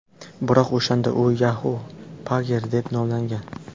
Biroq o‘shanda u Yahoo Pager deb nomlangan.